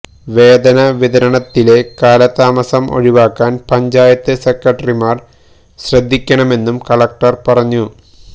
വേതന വിതരണത്തിലെ കാലതാമസം ഒഴിവാക്കാന് പഞ്ചായത്ത് സെക്രട്ടറിമാര് ശ്രദ്ധിക്കണമെന്നും കളക്ടര് പറഞ്ഞു